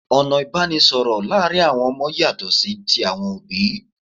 Ọ̀nà ìbánisọ̀rọ̀ láàrin àwon ọmọ yàtọ̀ sí ti àwọn òbí